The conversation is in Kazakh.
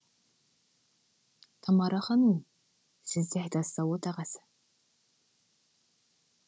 тамара ханум сіз де айтасыз ау отағасы